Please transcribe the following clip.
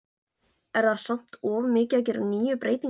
Er það samt of mikið að gera níu breytingar?